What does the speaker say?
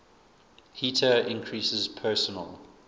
heater increases personal